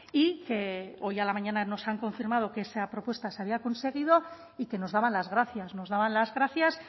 y que hoy a la mañana nos han confirmado que esa propuesta se había conseguido y que nos daban las gracias nos daban las gracias